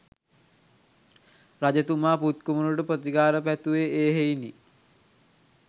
රජතුමා පුත් කුමරුට ප්‍රතිකාර පැතුවේ ඒ හෙයිනි.